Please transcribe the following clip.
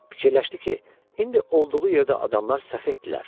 Fikirləşdi ki, indi olduğu yerdə adamlar səfehdirlər.